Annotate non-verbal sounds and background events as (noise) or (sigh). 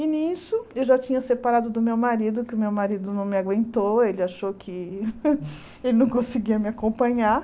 E nisso, eu já tinha separado do meu marido, que o meu marido não me aguentou, ele achou que (laughs) ele não conseguia me acompanhar.